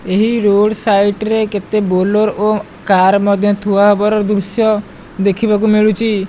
ଏହି road side ରେ କେତେ ବୋଲର ଓ କାର ମଧ୍ୟ ଥୁଆ ହେବାର ଦୃଶ୍ୟ ଦେଖିବାକୁ ମିଳୁଚି।